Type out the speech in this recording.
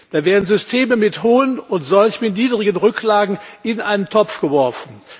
Da werden Systeme mit hohen und solche mit niedrigen Rücklagen in einen Topf geworfen.